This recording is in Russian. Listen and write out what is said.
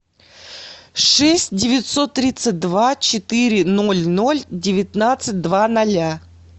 шесть девятьсот тридцать два четыре ноль ноль девятнадцать два ноля